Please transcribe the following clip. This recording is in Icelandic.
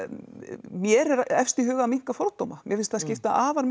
mér er efst í huga að minnka fordóma mér finnst það skipta afar